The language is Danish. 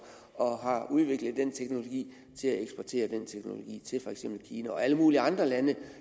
og har udviklet den teknologi til at eksportere den teknologi til for eksempel kina og alle mulige andre lande